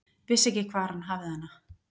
Vissi ekki hvar hann hafði hana.